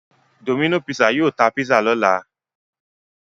Domino's pizza yóò ta pizza lọ́la.